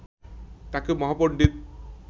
তাকে মহাপন্ডিত